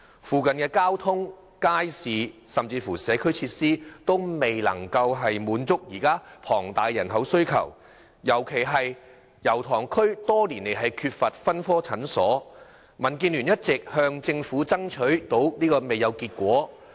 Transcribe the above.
附近交通、街市，以至社區設施都未能滿足龐大的人口需求，特別是區內多年來缺乏分科診所，民建聯一直向政府爭取不果。